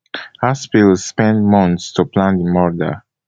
haspil spend months to plan di murder